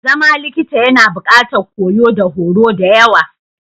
Zama likita yAna buƙatar koyo da horo da yawa.